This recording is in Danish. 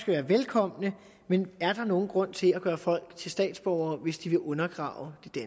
være velkomne men er der nogen grund til at gøre folk til statsborgere hvis de vil undergrave det